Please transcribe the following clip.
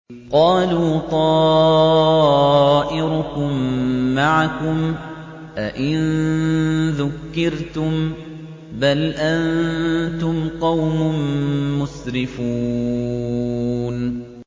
قَالُوا طَائِرُكُم مَّعَكُمْ ۚ أَئِن ذُكِّرْتُم ۚ بَلْ أَنتُمْ قَوْمٌ مُّسْرِفُونَ